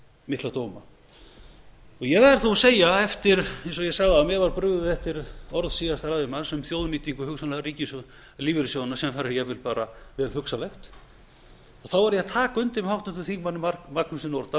mikla dóma ég verð þó að segja eins og ég sagði áðan a mér var brugðið eftir orð síðasta ræðumanns um hugsanlega þjóðnýtingu lífeyrissjóðanna sem þar er jafnvel bara vel hugsanlegt þá verð ég að taka undir með háttvirtum þingmanni magnúsi nordal